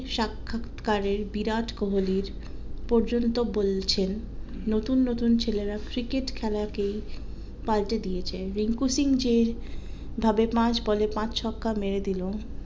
সাক্ষৎকারের বিরাট কোহলির পর্যন্ত বলছেন নতুন নতুন ছেলেরা ক্রিকেট খেলা কে পাল্টে দিয়েছে রিঙ্কু সিং যে ভাবে পাঁচ বলে পাঁচ ছক্কা মেরেদিলো